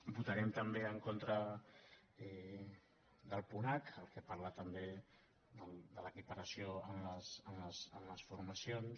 votarem també en contra del punt h el que parla també de l’equiparació en les formacions